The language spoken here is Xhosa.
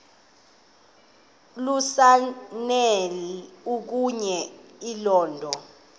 lukasnail okuya elondon